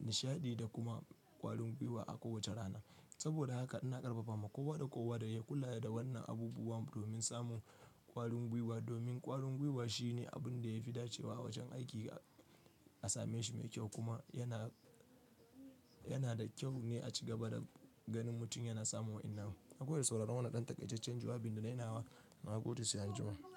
nishaɗi da kuma ƙwarin gwiwa a kowace rana. Saboda haka ina ƙarfafa ma kowa da kowa da ya kula da wannan abubuwa domin samun ƙwarin gwiwa. Domin ƙwarin gwiwa shine abun da ya fi dace wa wajen aiki a same shi mai kyau kuma yana, yana da kyau ne a ci gaba da ganin mutum yana samun wayannan. Nagode da sauraron wannan ɗan takaicen jawabin da na yi nawa, ranar goda sai anjima.